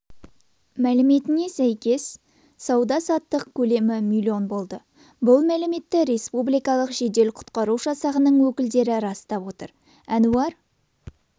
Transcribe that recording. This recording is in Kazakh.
мәліметіне сәйкес сауда-саттық көлемі миллион болды бұл мәліметті республикалық жедел құтқару жасағының өкілдері растап отыр әнуар